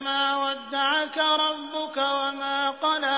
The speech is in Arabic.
مَا وَدَّعَكَ رَبُّكَ وَمَا قَلَىٰ